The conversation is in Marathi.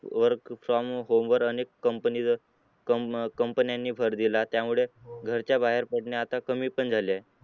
work from home अनेक company, कम कमपन्य़ानी भर दिला त्यामुळे घराच्या बाहेर पडणे पण कमी झाले आहे.